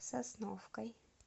сосновкой